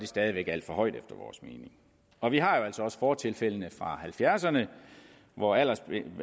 stadig alt for højt og vi har altså også fortilfældene fra halvfjerdserne hvor aldersgrænsen